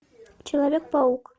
человек паук